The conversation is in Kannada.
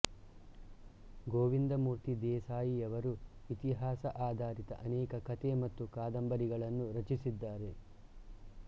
ಗೋವಿಂದಮೂರ್ತಿ ದೇಸಾಯಿಯವರು ಇತಿಹಾಸ ಆಧಾರಿತ ಅನೇಕ ಕತೆ ಮತ್ತು ಕಾದಂಬರಿಗಳನ್ನು ರಚಿಸಿದ್ದಾರೆ